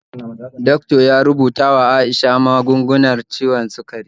Doctor ya rubuta wa Aisha magungunar ciwon sikari